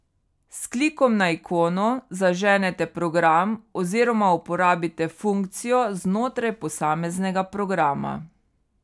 S klikom na ikono zaženete program oziroma uporabite funkcijo znotraj posameznega programa.